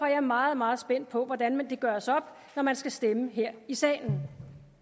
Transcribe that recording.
jeg meget meget spændt på hvordan det gøres op når man skal stemme her i salen